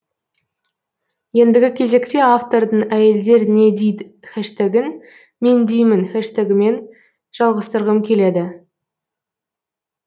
ендігі кезекте автордың әйелдернедид хэштегін мендеймін хэштегімен жалғастырғым келеді